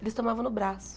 Eles tomavam no braço.